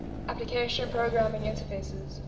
application programming interfaces